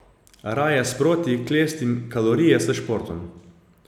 Raje sproti klestim kalorije s športom.